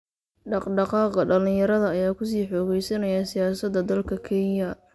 Dhaqdhaqaaqa dhalinyarada ayaa ku sii xoogeysanaya siyaasada dalka Kenya.